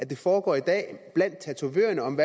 det foregår i dag blandt tatovørerne om